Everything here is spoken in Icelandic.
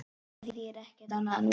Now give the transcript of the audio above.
Það þýðir ekkert annað núna.